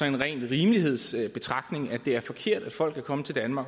en ren rimelighedsbetragtning at det er forkert at folk er kommet til danmark